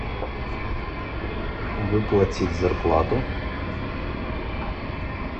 выплатить зарплату